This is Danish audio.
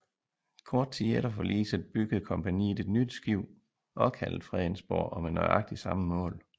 Kort tid efter forliset byggede kompagniet et nyt skib også kaldet Fredensborg og med nøjagtigt samme mål